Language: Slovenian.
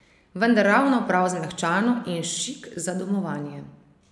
Vendar ravno prav zmehčano in šik za domovanje.